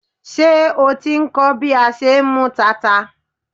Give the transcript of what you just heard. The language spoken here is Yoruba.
Ṣé o ti ń kọ́ bí a ṣe ń mú tata?